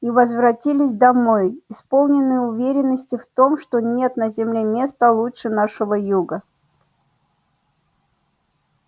и возвратились домой исполненные уверенности в том что нет на земле места лучше нашего юга